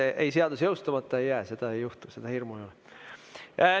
Ei, seadus jõustumata ei jää, seda ei juhtu, seda hirmu ei ole.